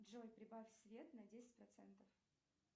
джой прибавь свет на десять процентов